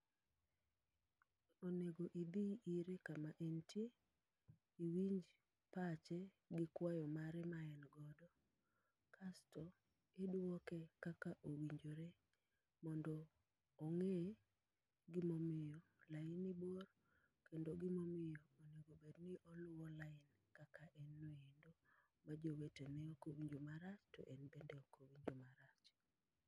Onego idhi ire kama entie, iwinj pache gi kwayo mare ma en godo. Kasto idwoke kaka owinjore mondo ong'e gimomiyo laini bor, kendo gimomiyo onegobedni oluwo lain kaka en no endo. Ma jowete ne okowinjo marach to en be okowinjo maracch.